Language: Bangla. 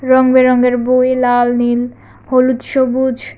রঙ বেরঙের বই লাল নীল হলুদ সবুজ।